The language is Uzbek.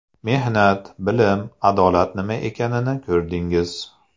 Mehnat, bilim, adolat nima ekanini ko‘rdingiz.